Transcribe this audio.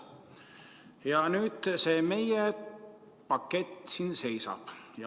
Ja nüüd see meie pakett seisab.